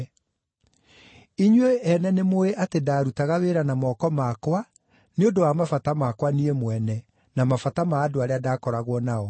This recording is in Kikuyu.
Inyuĩ ene nĩmũũĩ atĩ ndaarutaga wĩra na moko makwa nĩ ũndũ wa mabata makwa niĩ mwene, na mabata ma andũ arĩa ndakoragwo nao.